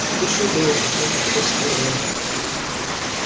на душе было как никогда скверно